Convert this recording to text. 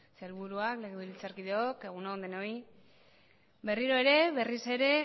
sailburuak legebiltzarkideok egun on denoi berriro ere berriz ere